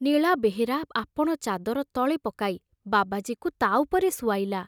ନୀଳା ବେହେରା ଆପଣ ଚାଦର ତଳେ ପକାଇ ବାବାଜୀକୁ ତା ଉପରେ ଶୁଆଇଲା।